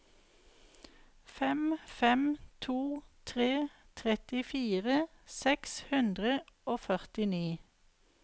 fem fem to fire trettifire seks hundre og førtini